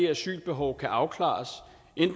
asylbehov kan afklares